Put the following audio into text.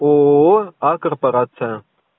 ооо а корпорация